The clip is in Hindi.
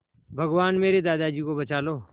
भगवान मेरे दादाजी को बचा लो